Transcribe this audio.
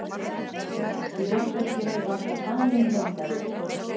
Í herberginu var svo falin myndavél.